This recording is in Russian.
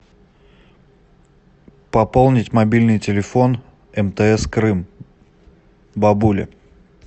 пополнить мобильный телефон мтс крым бабуле